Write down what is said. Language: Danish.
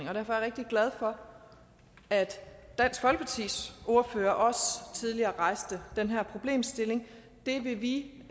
er jeg rigtig glad for at dansk folkepartis ordfører også tidligere rejste den her problemstilling det vil vi